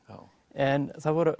en það voru